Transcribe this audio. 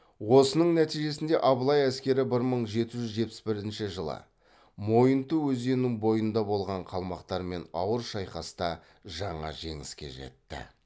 осының нәтижесінде абылай әскері бір мың жеті жүз жетпіс бірінші жылы мойынты өзенінің бойында болған қалмақтармен ауыр шайқаста жаңа жеңіске жетті